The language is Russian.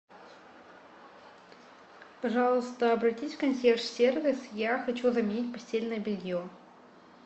пожалуйста обратись в консьерж сервис я хочу заменить постельное белье